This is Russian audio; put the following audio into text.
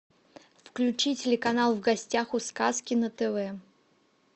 включи телеканал в гостях у сказки на тв